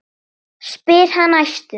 spyr hann æstur.